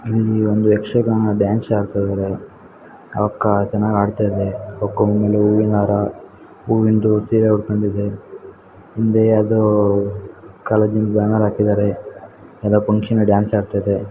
ಇಲ್ಲಿ ಒಂದು ಯಕ್ಷಗಾನ ಡ್ಯಾನ್ಸ್ ಆಡ್ತಾಯಿದಾರೆ ಆವಕ್ಕ ಚೆನ್ನಾಗಿ ಆಡ್ತಾಯಿದೆ ಆವಕ್ಕ ಹೂವಿನಹಾರ ಹೂವಿಂದ ಸೀರೆ ಉಟ್ಕೊಂಡಿದೆ ಹಿಂದೆ ಯಾವದೋ ಕಾಲೇಜಿ ನ ಬ್ಯಾನರ್ ಹಾಕಿದ್ದಾರೆ ಯಾವದೋ ಫಂಕ್ಷನ್ನಿ ಗೆ ಡ್ಯಾನ್ಸ್ ಆಡ್ತಾಯಿದೆ.